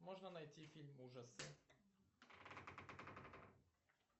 можно найти фильм ужасы